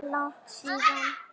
Langt síðan?